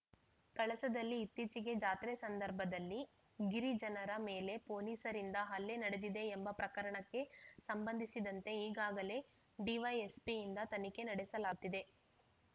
ಕಳಸದಲ್ಲಿ ಇತ್ತೀಚೆಗೆ ಜಾತ್ರೆ ಸಂದರ್ಭದಲ್ಲಿ ಗಿರಿಜನರ ಮೇಲೆ ಪೊಲೀಸರಿಂದ ಹಲ್ಲೆ ನಡೆದಿದೆ ಎಂಬ ಪ್ರಕರಣಕ್ಕೆ ಸಂಬಂಧಿಸಿದಂತೆ ಈಗಾಗಲೇ ಡಿವೈಎಸ್ಪಿಯಿಂದ ತನಿಖೆ ನಡೆಸಲಾಗುತ್ತಿದೆ